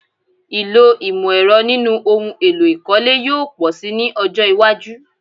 Ìlò ìmọ̀-ẹ̀rọ nínú ohun èlò ìkọ́lé yóò pọ̀ si ní ọjọ́ iwájú.